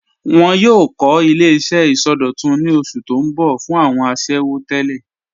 Wọn yòò kọ̀ ilẹ̀-iṣẹ̀ isọdọ̀tún ní osù tó n bọ̀ fún awọn àṣẹwo tẹlẹ.